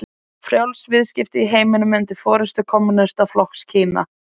Frjáls viðskipti í heiminum undir forystu kommúnistaflokks Kína?